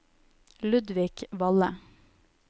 Ludvig Valle